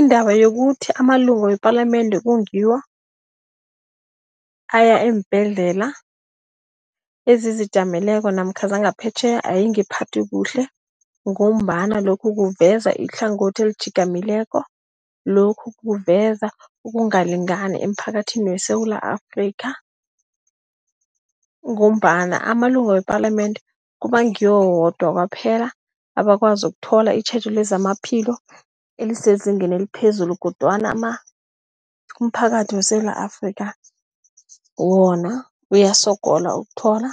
Indaba yokuthi amalunga wepalamende kube ngiwo aya eembhedlela, ezizijameleko namkha zangaphetjheya ayingiphathi kuhle ngombana lokhu kuveza ihlangothi elitjhigamileko. Lokhu kuveza ukungalingani emphakathini weSewula Afrika ngombana amalunga wepalamende kuba ngiyo wodwa kwaphela abakwazi ukuthola itjhejo lezamaphilo elisezingeni eliphezulu kodwana umphakathi weSewula Afrika wona uyasogola ukuthola